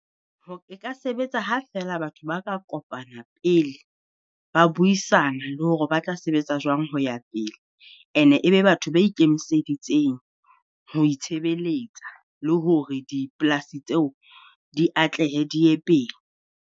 Ho e ka sebetsa ha feela batho ba ka kopana pele ba buisana, le hore ba tla sebetsa jwang ho ya pele. And-e e be batho ba ikemiseditseng ho itshebeletsa le hore dipolasi tseo di atlehe di ye pele.